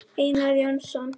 Einar Jónsson